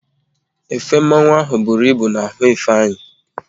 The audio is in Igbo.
Efe mmanwu ahụ bụru ịbụ n'ahụ Ifeanyị